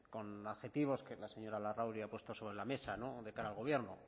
con adjetivos que la señora larrauri ha puesto sobre la mesa de cara al gobierno